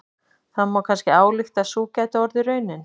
Það má kannski álykta að sú gæti orðið raunin.